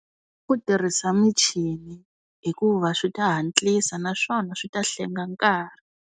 Ku tirhisa michini hikuva swi ta hatlisa naswona swi ta hlenga nkarhi.